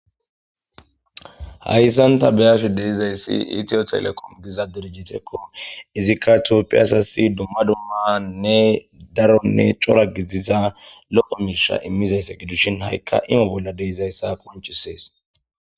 hayssan ta beyashi deizayssi itiyo telekom giza dirijitekko izikka toppiasasi dumma dummanne daronne cora giziza loqo miisha immizayssa gidushin ha7ikka ime bolla deizayssa qonchisees